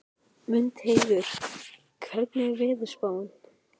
Mundheiður, hvernig er veðurspáin?